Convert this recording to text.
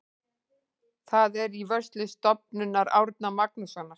Það er í vörslu Stofnunar Árna Magnússonar.